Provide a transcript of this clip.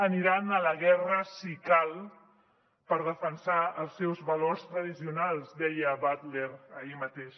aniran a la guerra si cal per defensar els seus valors tradicionals deia butler ahir mateix